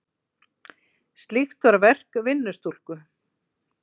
Slíkt var verk vinnustúlku.